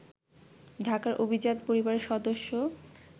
ঢাকার অভিজাত পরিবারের সদস্য